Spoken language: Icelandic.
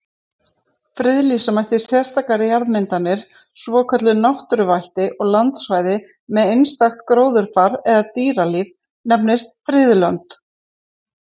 Friðlýsa mætti sérstakar jarðmyndanir, svokölluð náttúruvætti, og landsvæði með einstakt gróðurfar eða dýralíf, nefnd friðlönd.